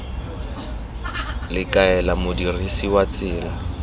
le kaela modirisi wa tsela